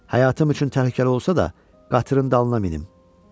Həyatım üçün təhlükəli olsa da, qatırın dalına minim.